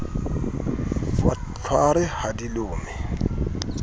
wa tlhware ha di lome